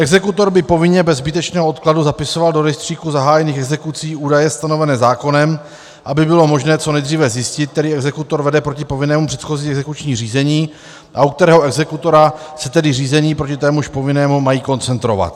Exekutor by povinně bez zbytečného odkladu zapisoval do rejstříku zahájených exekucí údaje stanovené zákonem, aby bylo možné co nejdříve zjistit, který exekutor vede proti povinnému předchozí exekuční řízení, a u kterého exekutora se tedy řízení proti témuž povinnému mají koncentrovat.